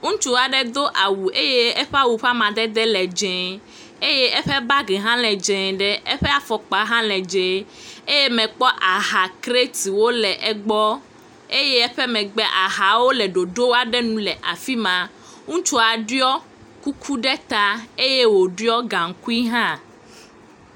Ŋutsu aɖe do awu eye eƒe awu ƒe amadede le dzẽ eye eƒe bangi hã le dzẽe ɖe eƒe afɔkpa hã le dzẽ. Eye mekpɔ ahakretiwo le egbɔ eye eƒe megbe ahawo le ɖoɖo aɖe nu le afi ma. Ŋutsua ɖiɔ kuku ɖe taa eye wòɖiɔ gaŋkui hã